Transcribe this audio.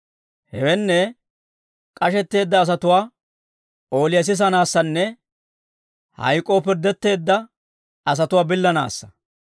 Hewenne, k'ashetteedda asatuwaa ooliyaa sisanaassanne hayk'k'oo pirddetteedda asatuwaa billanaassa.